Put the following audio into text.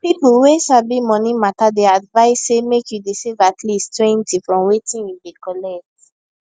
people wey sabi money matter dey advise say make you dey save at leasttwentyfrom wetin you dey collect